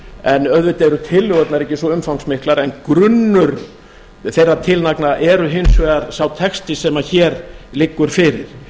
en auðvitað eru tillögurnar ekki svo umfangsmiklar en grunnur þeirra tillagna er hins vegar sá texti sem hér liggur fyrir